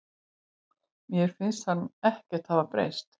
Mér finnst hann ekkert hafa breyst.